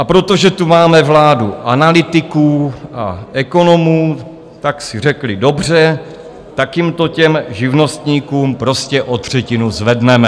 A protože tu máme vládu analytiků a ekonomů, tak si řekli: Dobře, tak jim to, těm živnostníkům, prostě o třetinu zvedneme.